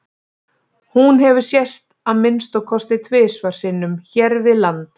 hún hefur sést að minnsta kosti tvisvar sinnum hér við land